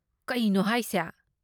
ꯀꯩꯅꯣ ꯍꯥꯏꯁꯦ!